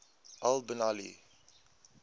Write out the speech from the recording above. al bin ali